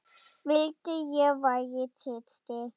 Vildi ég væri systir.